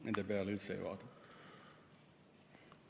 Nende peale üldse ei vaadata.